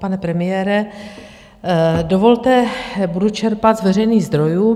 Pane premiére, dovolte, budu čerpat z veřejných zdrojů.